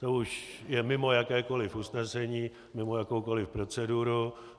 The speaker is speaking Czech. To už je mimo jakékoliv usnesení, mimo jakoukoliv proceduru.